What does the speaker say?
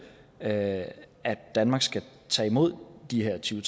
at danmark skal tage imod de her tyve